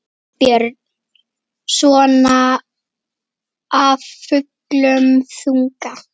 Björn: Svona af fullum þunga?